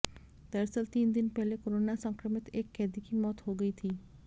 दरअसल तीन दिन पहले कोरोना संक्रमित एक कैदी की मौत हो गई थी